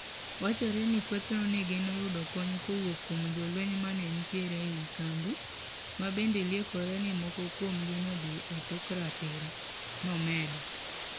"Wachore ni kethno negeno yudo kony kowuok kuom jolweny manenitire ei kambi, mabende liekore ni moko kuomgi nodhi etok ratiro," nomedo.